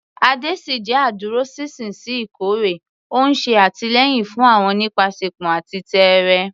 Ade ṣì jẹ́ adúróṣinṣin sí ikọ̀ rẹ̀, ó ń ṣe àtìlẹ́yìn fún wọn nípasẹ̀pọn àti tẹ́ẹ́rẹ́.